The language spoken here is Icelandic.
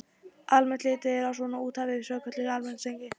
Almennt er litið svo á að úthafið sé svokölluð almenningseign.